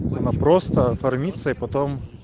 она просто оформиться и потом